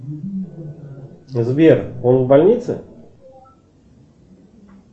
сбер он в больнице